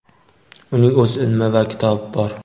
uning o‘z ilmi va kitobi bor.